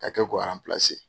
Ka'a kɛ g gawa pse